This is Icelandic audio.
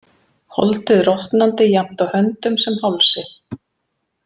Holdið rotnandi jafnt á höndum sem hálsi.